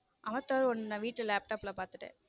Avatar ஒன்னு நான் வீட்ல laptop ல பாத்துட்டேன்.